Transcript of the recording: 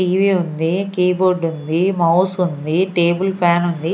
TV ఉంది keyboard ఉంది mouse ఉంది టేబుల్ ఫ్యాన్ ఉంది.